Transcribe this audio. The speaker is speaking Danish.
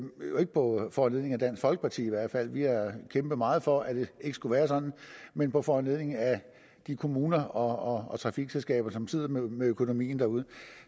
ikke på foranledning af dansk folkeparti i hvert fald vi har kæmpet meget for at det ikke skulle være sådan men på foranledning af de kommuner og trafikselskaber som sidder med økonomien derude